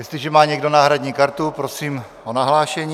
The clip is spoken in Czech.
Jestliže má někdo náhradní kartu, prosím o nahlášení.